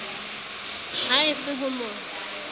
ha e se ho mo